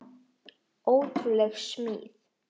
Ótrúleg smíð.